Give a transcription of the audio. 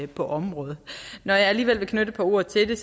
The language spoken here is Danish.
på området når jeg alligevel vil knytte et par ord til det